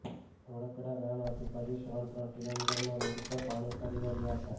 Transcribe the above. ધોળકડા ગામ આજુ બાજુ ત્રણ ત્રણ કિલોમીટરમાં રોડ પર પાણી ફરી વળ્યા હતા